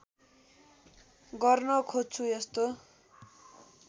गर्न खोज्छु यस्तो